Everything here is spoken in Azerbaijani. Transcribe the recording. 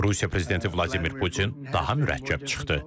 Rusiya prezidenti Vladimir Putin daha mürəkkəb çıxdı.